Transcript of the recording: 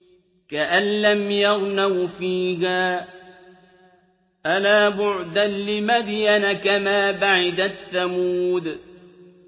كَأَن لَّمْ يَغْنَوْا فِيهَا ۗ أَلَا بُعْدًا لِّمَدْيَنَ كَمَا بَعِدَتْ ثَمُودُ